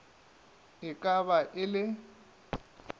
e ka ba e le